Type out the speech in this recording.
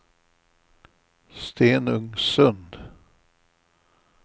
Stenungsund